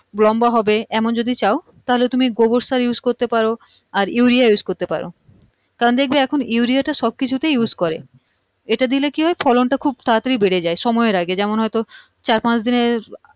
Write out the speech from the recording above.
লম্বা হবে এমন যদি চাও তাহলে তুমি গোবর সার use করতে পার আর urea use করতে পার কারণ দেখবে এখন urea টা সব কিছুতে use করে এটা দিলে কি হয় ফলনটা খুব তাড়াতাড়ি বেড়ে যায় সময়ের আগে যেমন হয়তো চার -পাঁচদিনের